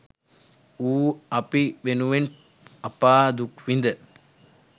ඌ අපි වෙනුවෙන් අපා දුක් විඳ